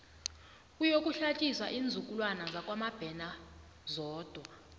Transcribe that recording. kuyokuhlatjiswa iinzukulwana zakwamabena zodwa